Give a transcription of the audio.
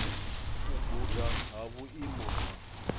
u guda ha vhuimo ha